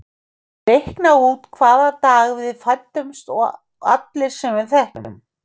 Reikna út hvaða dag við fæddumst og allir sem við þekkjum.